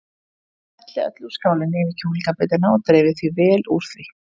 Hellið öllu úr skálinni yfir kjúklingabitana og dreifið vel úr því.